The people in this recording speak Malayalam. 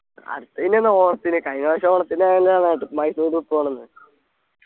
അടുത്ത ഇനി എന്നാ ഓണത്തിന് കഴിഞ്ഞ പ്രാവശ്യം ഓണത്തിന് അന്നല്ലേ മൈസൂരിൽ പോണംന്ന്